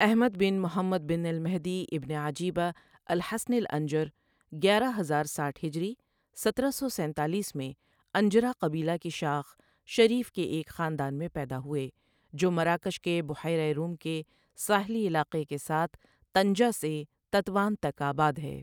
Ahmad bin Muhammad bin al-Mahdi ibn Ajiba, al-Hasani الانجر گیارہ ہزارساٹھ ہجری سترہ سو سینتالیس میں انجرا قبیلہ کی شاخ شریف کے ایک خاندان میں پیدا ہوئے جو مراکش کے بحیرہ روم کے ساحلی علاقے کے ساتھ طنجہ سے تطوان تک آباد ہے